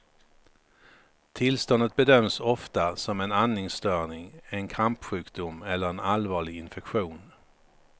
Tillståndet bedöms ofta som en andningsstörning, en krampsjukdom eller en allvarlig infektion.